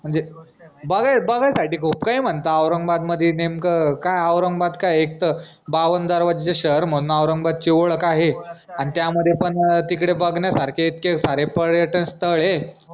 बघ बघायसाठी खूप काई म्हनताव औरंगाबाद मदि नेमक काय औरंगाबाद काय ऐकट बाव्वान दरवाज्याच शहर म्हनून औरंगाबादची ओडख आहे अन त्यामध्ये पन अं तिकडे बघण्यासारखे इतके सारे पर्यटन स्थळ ए